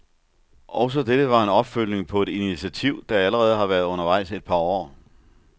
Også dette var en opfølgning på et initiativ, der allerede har været undervejs et par år.